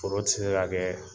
Foro ti se ka kɛ